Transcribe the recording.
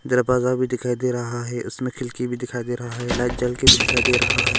दरबाजा भी दिखाई दे रहा है उसमें खिलकी भी दिखाई दे रहा है लाइट जल के भी दिखाई दे रहा है।